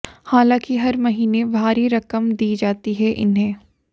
हालांकि हर महीने भारी रकम दी जाती है इन्हें